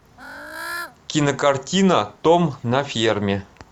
кинокартина том на ферме